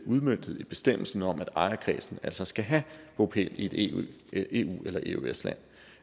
udmøntet i bestemmelsen om at ejerkredsen altså skal have bopæl i et eu eller eøs land